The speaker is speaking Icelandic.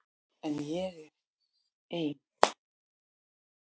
En hér er ein.